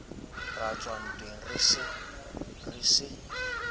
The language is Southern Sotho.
ra ntswa ntweng re se